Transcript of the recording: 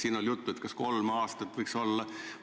Siin oli juttu, kas kolm aastat võiks olla tähtaeg.